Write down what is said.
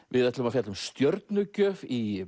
við ætlum að fjalla um stjörnugjöf í